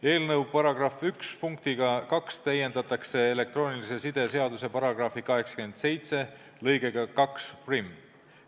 Eelnõu § 1 punktiga 2 täiendatakse elektroonilise side seaduse § 87 lõikega 21.